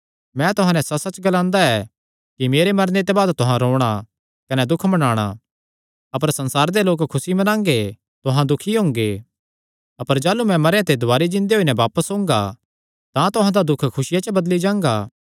मैं तुहां नैं सच्चसच्च ग्लांदा ऐ कि मेरे मरने ते बाद तुहां रोणा कने दुख मनाणा अपर संसार दे लोक खुसी मनांगे तुहां दुखी हुंगे अपर जाह़लू मैं मरेयां ते दुवारी जिन्दे होई नैं बापस ओंगा तां तुहां दा दुख खुसिया च बदली जांगा